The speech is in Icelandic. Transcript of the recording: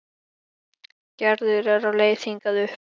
Gerður er á leið hingað upp.